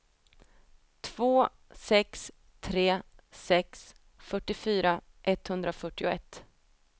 två sex tre sex fyrtiofyra etthundrafyrtioett